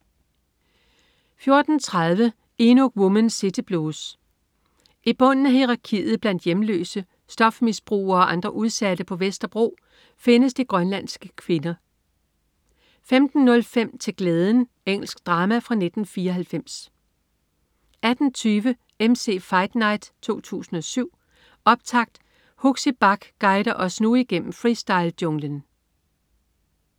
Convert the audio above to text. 14.30 Inuk Woman City Blues. I bunden af hierarkiet blandt hjemløse, stofmisbrugere og andre udsatte på Vesterbro findes de grønlandske kvinder 15.05 Til glæden. Engelsk drama fra 1994 18.20 MC's Fight Night 2007, optakt. Huxi Bach guider os nu gennem freestylejunglen